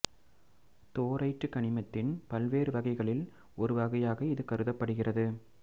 thorite கனிமத்தின் பல்வேறு வகைகளில் ஒரு வகையாக இது கருதப்படுகிறது